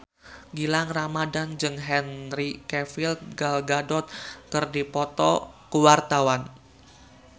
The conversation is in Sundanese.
Gilang Ramadan jeung Henry Cavill Gal Gadot keur dipoto ku wartawan